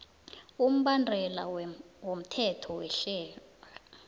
umbandela womthetho werhelo